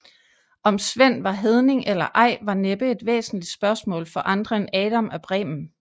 Om Sven var hedning eller ej var næppe et væsentlig spørgsmål for andre end Adam af Bremen